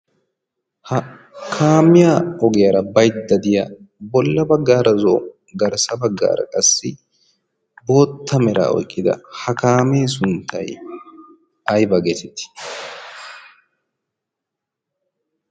Ha kaamiya ogiyaara bayda de'iya bolla baggaara zo'o garssa baggaara qassi bootta meraa oyqqida ha kaamee sunttay ayba geeteti?